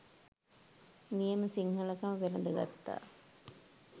නියම සිංහලකම වැළඳ ගත්තා..